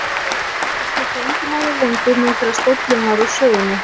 Þetta skipti engu máli lengur nú þegar stóllinn var úr sögunni.